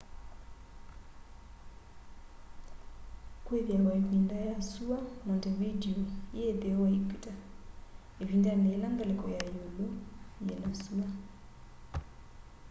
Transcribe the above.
kwithiawa ivinda ya sua montevideo yi itheo wa equator ivindani yila ngaliko ya iulu yina sua